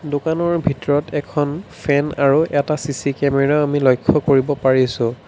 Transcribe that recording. দোকানৰ ভিতৰত এখন ফেন আৰু এটা চি_চি কেমেৰাও আমি লক্ষ্য কৰিব পাৰিছোঁ।